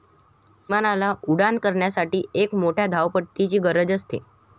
विमानाला उड्डाण करण्यासाठी एक मोठ्या धावपट्टीची गरज असते.